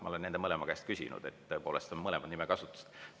Ma olen nende mõlema käest küsinud, sest tõepoolest on mõlemad kasutusel.